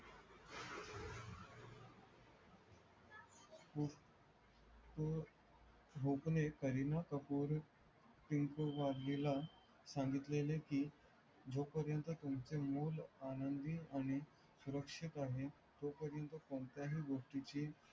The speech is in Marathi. हो बूपणे करीना कपूर टिनकू वादविला संगितलेल की जो पर्यंत तुमचे मूल आनंदी आणि सुरक्षित आहे तो पर्यंतकोणत्या ही गोष्टीची